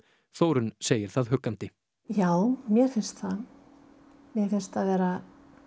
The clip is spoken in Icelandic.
Þórunn segir það huggandi já mér finnst vera